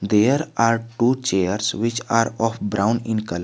There are two chairs which are of brown in colour.